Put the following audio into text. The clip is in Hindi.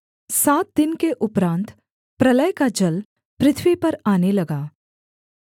सात दिन के उपरान्त प्रलय का जल पृथ्वी पर आने लगा